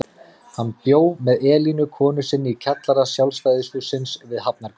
Hann bjó með Elínu konu sinni í kjallara Sjálfstæðishússins við Hafnargötu.